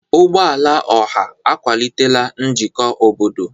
Ụgbọ ala ọha akwalitela njikọ obodo.